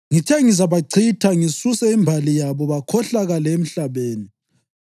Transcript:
Ngithe ngizabachitha ngisuse imbali yabo bakhohlakale emhlabeni,